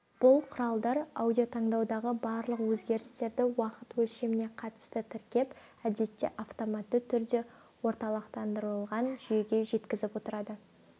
бұл құралдар радиотаңдаудағы барлық өзгерістерді уақыт өлшеміне қатысты тіркеп әдетте автоматты түрде орталықтандырылған жүйеге жеткізіп отырады